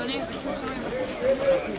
Ona görə işıq yoxdur.